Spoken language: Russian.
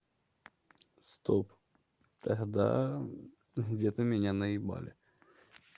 стоп тогда где-то меня наебали